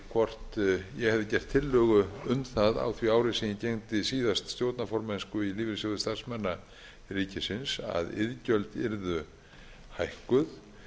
hvort ég hefði gert tillögu um það á því ári sem ég gegndi síðast stjórnarformennsku í lífeyrissjóði starfsmanna ríkisins að iðgjöld yrðu hækkuð